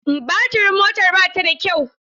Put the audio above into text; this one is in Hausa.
Baturin motar ba ta da kyau.